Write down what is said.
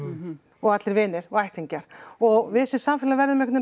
og allir vinir ættingjar og við sem samfélag verðum einhvern